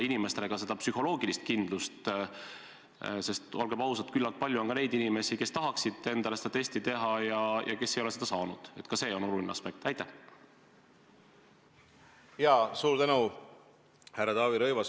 mis puudutavad testimist.